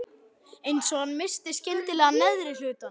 Eins og hann missti skyndilega áhugann.